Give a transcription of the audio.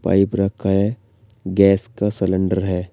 Pipe रखा है gas का सिलेंडर है।